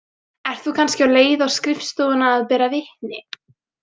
Ert þú kannski á leið á skrifstofuna að bera vitni?